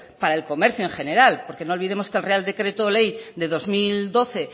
para el comercio en general porque no olvidemos que el real decreto ley de dos mil doce